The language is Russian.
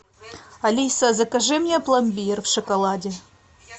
алиса закажи мне пломбир в шоколаде